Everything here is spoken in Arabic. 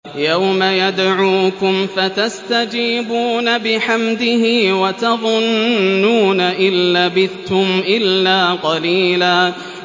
يَوْمَ يَدْعُوكُمْ فَتَسْتَجِيبُونَ بِحَمْدِهِ وَتَظُنُّونَ إِن لَّبِثْتُمْ إِلَّا قَلِيلًا